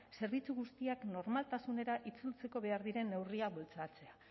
zerbitzu guztiak normaltasunera itzultzeko behar diren neurriak bultzatzea